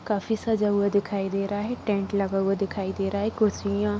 काफी सजा हुआ दिखाई दे रहा है टेंट लगा हुआ दिखाई दे रहा है कुर्सियां --